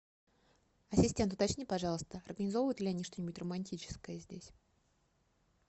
ассистент уточни пожалуйста организовывают ли они что нибудь романтическое здесь